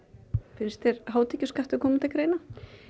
finnst þér hátekjuskattur koma til greina